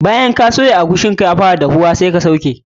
Bayan ka soya shi bayan eguisi ka ya fara yin duhu, ka sauke.